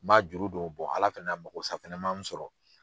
Man juru don Ala fɛnɛ na makosa man sɔrɔ.